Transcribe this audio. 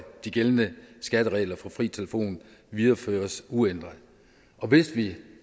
de gældende skatteregler for fri telefon videreføres uændret hvis vi